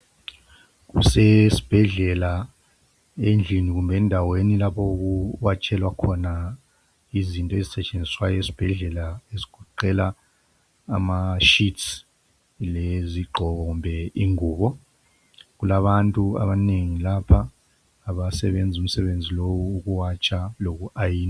Kusesibhedlela endlini kumbe endaweni lapho okuwatshelwa khona izinto ezisetshenziswa esibhedlela ezigoqela ama sheets lezigqoko kumbe ingubo kulabantu abanengi lapha abasebenza umsebenzi lowu owokuwatsha loku ayina.